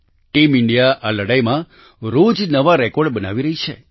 team India આ લડાઈમાં રોજ નવા રેકોર્ડ બનાવી રહી છે